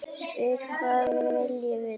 Spyr hvað hún vilji vita.